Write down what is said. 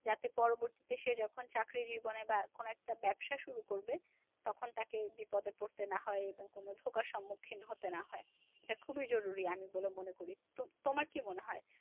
যাতে পরবর্তীতে এসে যখন চাকরি জীবনে বা কোন একটা ব্যবসা শুরু করবে তখন তাকে বিপদে পড়তে না হয় এবং কোন প্রকার সম্মুখীন হতে না হয়। এটা খুবই জরুরী আমি বলে মনে করি। তোমার কি মনে হয়?